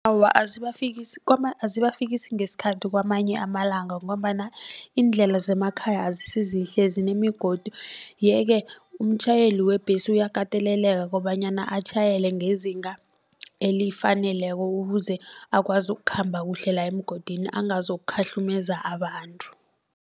Awa azibafikisi azibafikisi ngesikhathi kwamanye amalanga ngombana iindlela zemakhaya azisizihle zinemigodi. Yeke umtjhayeli webhesi uyakateleleka kobanyana atjhayele ngezinga elifaneleko ukuze akwazi ukukhamba kuhle la emgodini angazokukhahlumeza abantu.